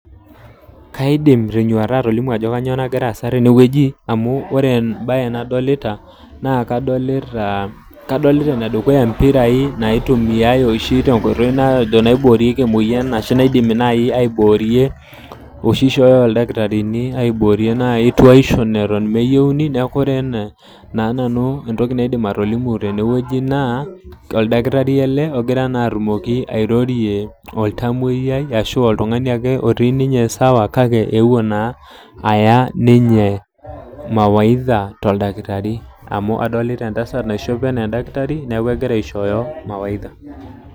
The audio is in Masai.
Kaidim tenyuata atolimu ajo kainyoo nakira aasa tenewoji, amu wore embaye nadolita, naa kadolita ene dukuya impirai naitumiyai oshi tenkoitoi naiboorieki emoyian, ashu naidimi naai aiboorie oshi ishooyo ildakitarini aiboorie naai tuaisho eton meyieuni. Neeku wore ena naa nanu entoki naidim atolimu tenewoji naa, oldakitari ele okira naa atumoki airorie oltamoyia ashu oltungani ake otii ninye sawa kake eeuo naa aya ninye mawaidha toldakitari. Amu adolita entasat naishope enaa endakitari, neeku ekira aishooyo mawaidha.